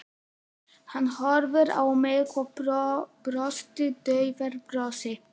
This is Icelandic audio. Hann horfði á mig og brosti daufu brosi.